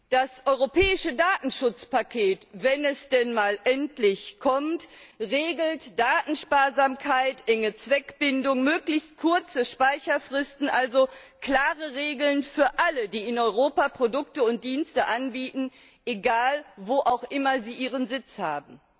Das Europäische Datenschutzpaket, wenn es denn mal endlich kommt, regelt Datensparsamkeit, enge Zweckbindung, möglichst kurze Speicherfristen also klare Regeln für alle, die in Europa Produkte und Dienste anbieten, wo auch immer sie ihren Sitz haben.